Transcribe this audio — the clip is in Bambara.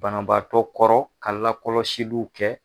Banabaatɔ kɔrɔ ka lakɔlɔsiluw kɛ.